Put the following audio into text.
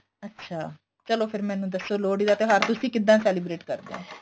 ਅੱਛਾ ਚਲੋ ਫ਼ੇਰ ਮੈਨੂੰ ਦੱਸੋ ਤੁਸੀਂ ਲੋਹੜੀ ਦਾ ਤਿਉਹਾਰ ਕਿੱਦਾਂ celebrate ਕਰਦੇ ਓ